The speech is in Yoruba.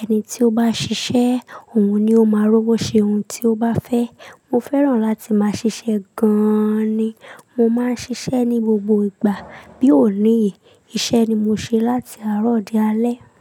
ẹni tí ó bá ṣiṣẹ́, òun ni ó máa rówó ṣe ohun tí ó bá fẹ́. Mo fẹ́ràn láti máa ṣiṣẹ́ gan an ni. Mo máa ń ṣiṣẹ́ ní gbogbo ìgbà, bí ò ní yìí, iṣẹ́ ni mo ṣe láti àárọ̀ dé alẹ́